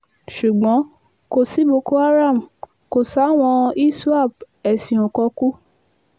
ṣùgbọ́n kò sí boko haram kò sáwọn iswap eéṣín ò kòkù